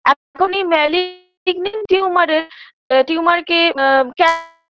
এই malignant tumor -এর tumor -কে অ্যা ক্যা